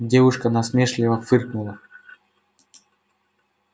девушка насмешливо фыркнула